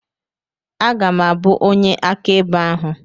Aga m abụ onye akaebe ahụ.